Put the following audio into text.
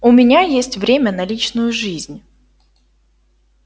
у меня есть время на личную жизнь